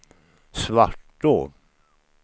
Svartå